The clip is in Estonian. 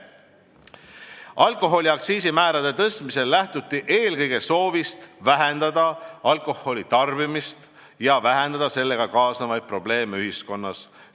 Alkoholi aktsiisimäärade tõstmisel lähtuti eelkõige soovist vähendada alkoholitarbimist ja sellega kaasnevaid probleeme ühiskonnas.